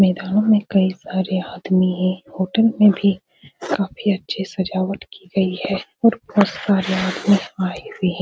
मैदानों में कई सारे आदमी है होटल में भी काफी अच्छी सजावट की गयी है और बहुत सारे आदमी आये हुए है।